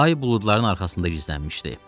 Ay buludların arxasında gizlənmişdi.